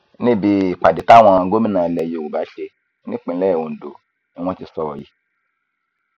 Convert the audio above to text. níbi ìpàdé táwọn gómìnà ilẹ yorùbá ṣe nípìnlẹ ondo ni wọn ti sọrọ yìí